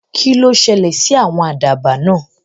Kí ló ṣẹ̀lẹ̀ sí àwọn àdàbà náà?